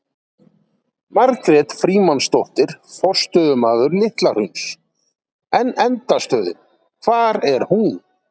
Margrét Frímannsdóttir, forstöðumaður Litla hrauns: En endastöðin, hvar er hún?